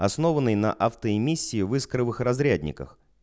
основанный на автоэмиссии в искровых разрядниках